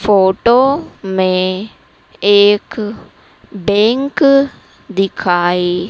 photo में एक bank दिखाई--